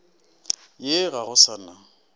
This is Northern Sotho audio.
ye ga go sa na